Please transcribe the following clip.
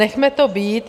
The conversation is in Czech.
Nechme to být.